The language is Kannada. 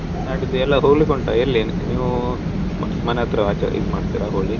ನಾಡಿದ್ ಎಲ್ಲಾ ಹೋಗ್ಲಿಕ್ಕುಂಟ ಎಲ್ಲಿ ನೀವು, ಮ~ ಮನೆ ಹತ್ರ ಆಚೆ ಇದ್ ಮಾಡ್ತಿರ Holi ?